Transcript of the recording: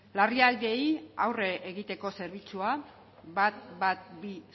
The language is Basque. larrialdiei aurre egiteko zerbitzua ehun eta hamabi